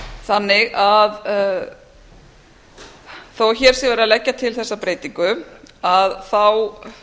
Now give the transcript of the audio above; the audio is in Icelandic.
þannig að þó að hér sé verið að leggja til þessa breytingu þá